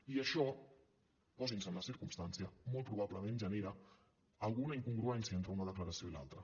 i això posin se en la circumstància molt probablement genera alguna incongruència entre una declaració i l’altra